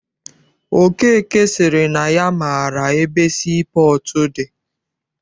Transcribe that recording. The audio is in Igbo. Okeke sịrị na ya maara ebe sii pọọtụ dị.